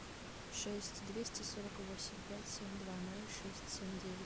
шесть двести сорок восемь пять семь два ноль шесть семь девять